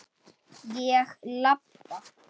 Ég labba.